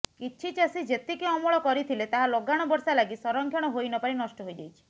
କିଛି ଚାଷୀ ଯେତିକି ଅମଳ କରିଥିଲେ ତାହା ଲଗାଣ ବର୍ଷା ଲାଗି ସଂରକ୍ଷଣ ହୋଇନପାରି ନଷ୍ଟ ହୋଇଯାଇଛି